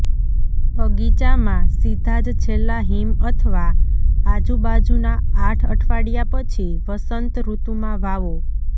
બગીચામાં સીધા જ છેલ્લા હિમ અથવા આજુબાજુના આઠ અઠવાડિયા પછી વસંતઋતુમાં વાવો